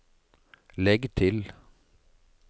legg til